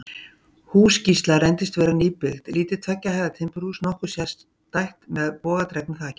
Hús Gísla reyndist vera nýbyggt, lítið tveggja hæða timburhús, nokkuð sérstætt, með bogadregnu þaki.